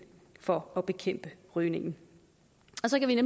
for at bekæmpe rygning